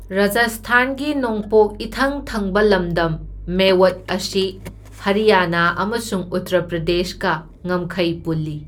ꯔꯥꯖꯁꯊꯥꯟꯒꯤ ꯅꯣꯡꯄꯣꯛ ꯏꯊꯪ ꯊꯪꯕ ꯂꯝꯗꯝ ꯃꯦꯋꯠ ꯑꯁꯤ ꯍꯔꯤꯌꯥꯅꯥ ꯑꯃꯁꯨꯡ ꯎꯠꯇꯔ ꯄ꯭ꯔꯗꯦꯁꯀ ꯉꯝꯈꯩ ꯄꯨꯜꯂꯤ꯫